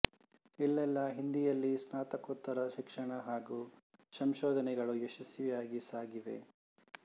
ಇಲ್ಲೆಲ್ಲ ಹಿಂದೀಯಲ್ಲಿ ಸ್ನಾತಕೋತ್ತರ ಶಿಕ್ಷಣ ಹಾಗೂ ಸಂಶೋಧನೆಗಳು ಯಶಸ್ವಿಯಾಗಿ ಸಾಗಿವೆ